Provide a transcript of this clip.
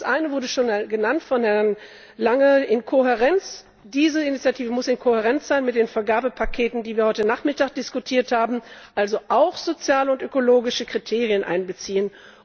Der eine wurde schon von Herrn Lange genannt Diese Initiative muss kohärent sein mit den Vergabepaketen, die wir heute Nachmittag diskutiert haben, also auch soziale und ökologische Kriterien einbeziehen.